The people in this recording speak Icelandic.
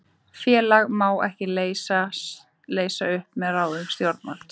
Félag má ekki leysa upp með ráðstöfun stjórnvalds.